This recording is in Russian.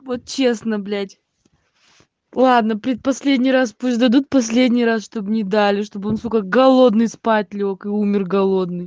вот честно блять ладно предпоследний раз пусть дадут последний раз чтоб не дали чтоб он сука голодный спать лёг и умер голодный